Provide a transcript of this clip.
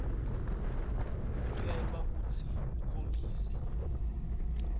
ucelwa kutsi ukhombise